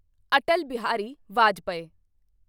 Atal Bihari Vajpayee